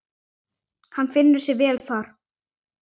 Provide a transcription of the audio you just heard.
Hann finnur sig vel þar.